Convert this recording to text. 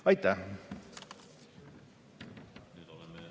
Aitäh!